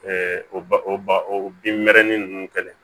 ba o ba o bin mɛrɛnin nunnu kɛlen